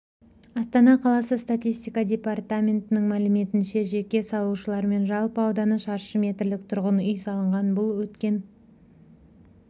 астана қаласы статистика департаментінің мәліметінше жеке салушылармен жалпы ауданы шаршы метрлік тұрғын үй салынған бұл өткен